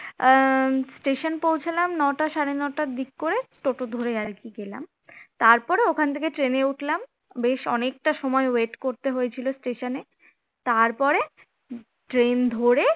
আহ station পৌছালাম নটা সাড়ে নটার দিক করে টোটো ধরে আর কি গেলাম তারপরে ওখান থেকে ট্রেনে উঠলাম বেশ অনেকটা সময় wait করতে হয়েছিল station এ তারপরে ট্রেন ধরে